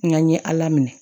N ka ɲɛ ala minɛ